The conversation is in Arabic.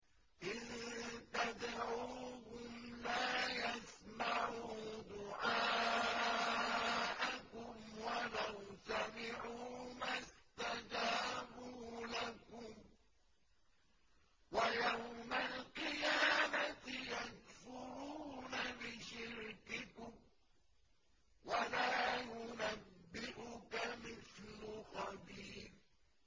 إِن تَدْعُوهُمْ لَا يَسْمَعُوا دُعَاءَكُمْ وَلَوْ سَمِعُوا مَا اسْتَجَابُوا لَكُمْ ۖ وَيَوْمَ الْقِيَامَةِ يَكْفُرُونَ بِشِرْكِكُمْ ۚ وَلَا يُنَبِّئُكَ مِثْلُ خَبِيرٍ